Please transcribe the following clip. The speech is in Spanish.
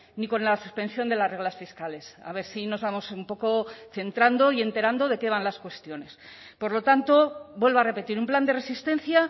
ni con la suspensión de las reglas fiscales a ver si nos vamos un poco centrando y enterando de qué van las cuestiones por lo tanto vuelvo a repetir un plan de resistencia